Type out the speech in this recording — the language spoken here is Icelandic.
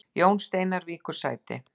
Jón Steinar víkur sæti